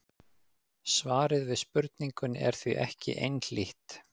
svarið við spurningunni er því ekki einhlítt